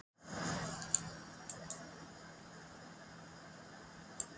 Ég bendi á þrennt að lokum.